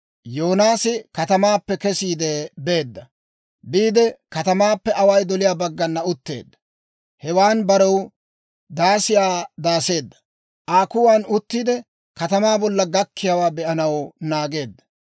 Yoonaasi katamaappe kesiide beedda; biide katamaappe away doliyaa baggan utteedda. Hewan barew daasiyaa daaseedda, Aa kuwan uttiide, katamaa bolla gakkiyaawaa be'anaw naageedda.